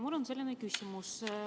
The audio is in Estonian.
Mul on selline küsimus.